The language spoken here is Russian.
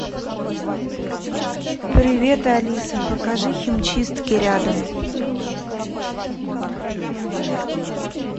привет алиса покажи химчистки рядом